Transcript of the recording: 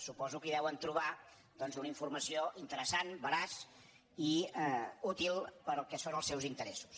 suposo que hi deuen trobar doncs una informació interessant veraç i útil per al que són els seus interessos